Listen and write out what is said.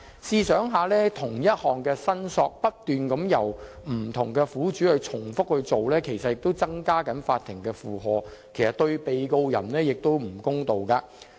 試想一想，不同苦主不斷重複就同一事項進行相同申索，其實也增加了法庭的負荷，對被告人亦有欠公道。